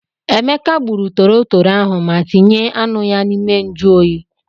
Emeka gburu torotoro ahụ ma tinye anụ ya n'ime njụ oyi.